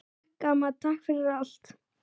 Takk, amma, takk fyrir allt.